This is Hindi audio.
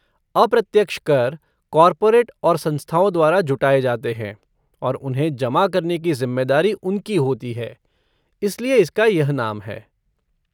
अप्रत्यक्ष कर कॉर्पोरेट और संस्थाओं द्वारा जुटाए जाते हैं और उन्हें जमा करने की जिम्मेदारी उनकी होती है, इसलिए इसका यह नाम है।